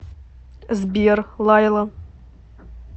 сбер лайла